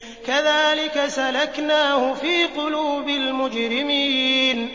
كَذَٰلِكَ سَلَكْنَاهُ فِي قُلُوبِ الْمُجْرِمِينَ